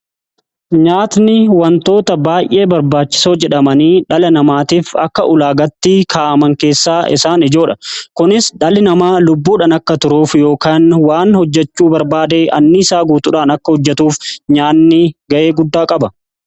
nyaatni wantoota baay'ee barbaachisoo jedhamanii dhala namaatiif akka ulaagaatti kaa'aman keessaa isaan ijoodha. Kunis dhalli namaa lubbuudhaan akka turuuf yookan waan hojjechuu barbaadee anniisaa guutuudhaan akka hojjetuuf nyaanni ga'ee guddaa qaba.